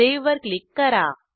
save वर click करा